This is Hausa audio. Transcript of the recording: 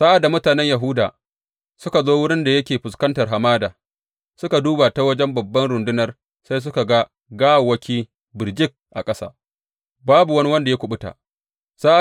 Sa’ad da mutanen Yahuda suka zo wurin da yake fuskantar hamada, suka duba ta wajen babban rundunar, sai suka ga gawawwaki birjik a ƙasa; babu wani wanda ya kuɓuta.